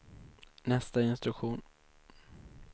nästa instruktion